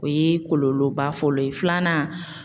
O ye kɔlɔlɔba fɔlɔ ye filanan